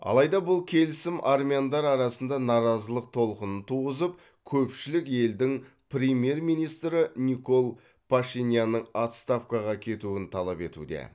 алайда бұл келісім армяндар арасында наразылық толқынын туғызып көпшілік елдің премьер министрі никол пашинянның отставкаға кетуін талап етуде